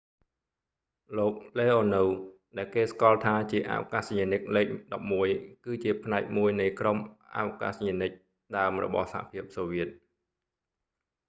លោក leonov លេអូនូវ ដែលគេស្គាល់ថាជាអវកាសយានិកលេខ11 គឺជាផ្នែកមួយនៃក្រុមអវកាសយានិកដើមរបស់សហភាពសូវៀត